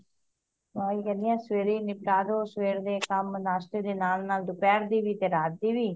ਮੈਂ ਓਹੀ ਕਹਿ ਰੀ ਆ ਸਵੇਰੇ ਹੀ ਨਿਪਟਾ ਦੋ ਸਵੇਰ ਦੇ ਕੰਮ ਨਾਸ਼ਤੇ ਦੇ ਨਾਲ ਨਾਲ ਦੁਪਹਿਰ ਦੀ ਵੀ ਤੇ ਰਾਤ ਦੀ ਵੀ